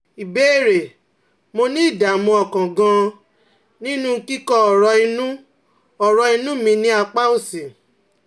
Ìbéèrè: Mo ní ìdààmú ọkàn gan-an nínú kíkọ́ ọ̀rọ̀ inú ọ̀rọ̀ inú mi ní apá òsì